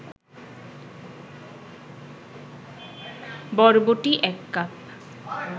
বরবটি ১ কাপ